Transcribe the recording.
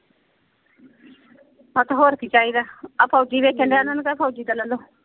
ਆ ਤੇ ਹੋਰ ਕੀ ਚਾਹੀਦਾ। ਆ ਫ਼ੌਜੀ ਵੇਚਣ ਡੇਆ ਓਹਨਾ ਨੂੰ ਕਹਿ ਫੌਜੀ ਦਾ ਲੈ ਲਓ।